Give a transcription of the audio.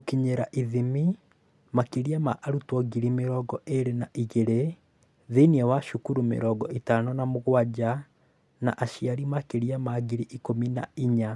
Gũkinyĩra / ithimi: Makĩria ma arutwo ngiri mĩrongo ĩĩrĩ na igĩrĩ thĩinĩ wa cukuru mĩrongo ĩtano na mũgwanja, na aciari makĩria ma ngiri ikũmi na inya.